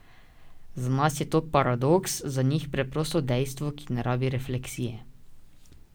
Za nas je to paradoks, za njih preprosto dejstvo, ki ne rabi refleksije.